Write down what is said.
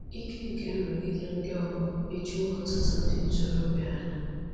Ike nke nrụgide ndị ọgbọ ejuwo ọtụtụ ndị ntorobịa anya